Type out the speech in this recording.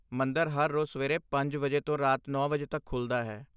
ਮੰਦਰ ਹਰ ਰੋਜ਼ ਸਵੇਰੇ ਪੰਜ ਵਜੇ ਤੋਂ ਰਾਤ ਨੌ ਵਜੇ ਤੱਕ ਖੁੱਲ੍ਹਦਾ ਹੈ